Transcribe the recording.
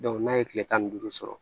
n'a ye kile tan ni duuru sɔrɔ